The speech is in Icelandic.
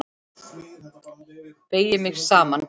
Beygi mig saman.